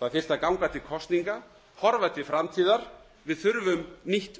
það þyrfti að ganga til kosninga horfa til framtíðar við þurfum nýtt